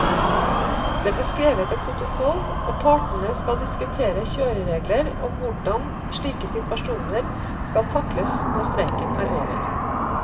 Det ble skrevet en protokoll, og partene skal diskutere kjøreregler om hvordan slike situasjoner skal takles når streiken er over.